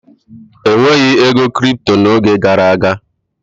E nweghị ego kripto n'oge gara aga.